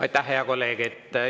Aitäh, hea kolleeg!